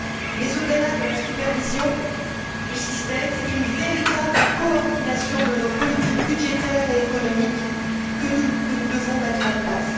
Mais, au delà de la supervision du système, c'est une véritable coordination de nos politiques budgétaires et économiques que nous devons mettre en place.